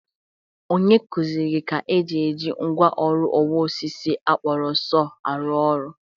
Onye kuziere gị ka e ji eji mgwa ọrụ ọwa osisi a kpọrọ sọọ a rụ ọrụ?